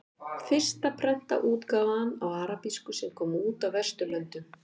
Fyrsta prentaða útgáfan á arabísku sem kom út á Vesturlöndum.